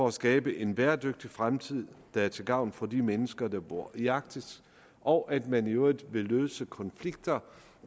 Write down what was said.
at skabe en bæredygtig fremtid der er til gavn for de mennesker der bor i arktis og at man i øvrigt vil løse konflikter